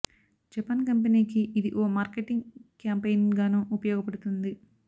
Japan company కి ఇది ఓ మార్కెటింగ్ క్యాంపెయిన్ గానూ ఉపయోగపడుతుంది